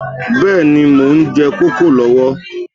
Bẹ́ẹ̀ni, mo ń jẹ kókò lọ́wọ́